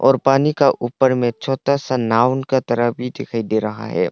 और पानी का ऊपर में छोटा सा नाउन के तरह भी दिखाई दे रहा है।